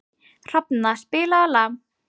Hrafna, spilaðu lag.